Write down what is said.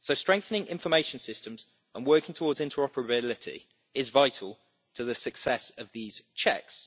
So, strengthening information systems and working towards interoperability is vital to the success of these checks.